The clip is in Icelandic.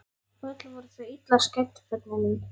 Öll voru þau illa skædd börnin mín.